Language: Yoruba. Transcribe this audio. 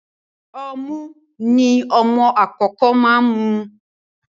Ọmu ni ọmọ ìkókó máa ń mu.